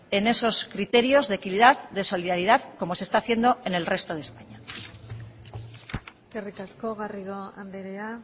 en esos criterios de equidad de solidaridad como se está haciendo en el resto de españa eskerrik asko garrido andrea